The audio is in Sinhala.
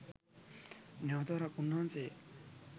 නැවත වරක් උන්වහන්සේ